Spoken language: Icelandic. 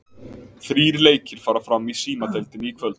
Þrír leikir fara fram í Símadeildinni í kvöld.